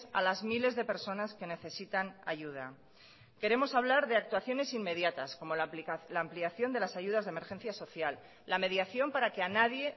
a las miles de personas que necesitan ayuda queremos hablar de actuaciones inmediatas como la ampliación de las ayudas de emergencia social la mediación para que a nadie